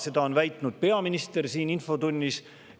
Seda on väitnud peaminister siin infotunnis.